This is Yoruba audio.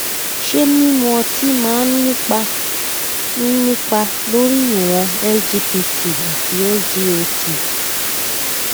ṣé mímu ọtí máa ń nípa ń nípa lórí ìwọn sgpt àti sgot